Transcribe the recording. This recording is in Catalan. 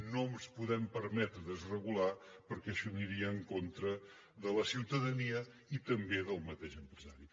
no ens podem permetre desregular perquè això aniria en contra de la ciutadania i també del mateix empresari